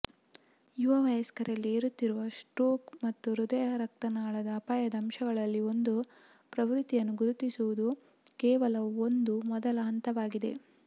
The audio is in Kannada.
ಯುವ ವಯಸ್ಕರಲ್ಲಿ ಏರುತ್ತಿರುವ ಸ್ಟ್ರೋಕ್ ಮತ್ತು ಹೃದಯರಕ್ತನಾಳದ ಅಪಾಯದ ಅಂಶಗಳಲ್ಲಿ ಒಂದು ಪ್ರವೃತ್ತಿಯನ್ನು ಗುರುತಿಸುವುದು ಕೇವಲ ಒಂದು ಮೊದಲ ಹಂತವಾಗಿದೆ